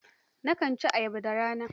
Nakan ci ayaba da rana